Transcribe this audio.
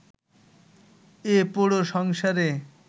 এ পোড়া সংসারে